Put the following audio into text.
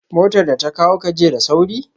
Motar da ta kawo ka jiya da sauri?